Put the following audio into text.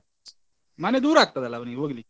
ಮನೆ ದೂರ ಆಗ್ತದಲ್ಲ ಅವ್ನಿಗೆ ಹೋಗ್ಲಿಕ್ಕೆ.